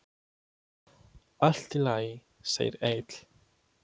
Allt í lagi, segir Egill.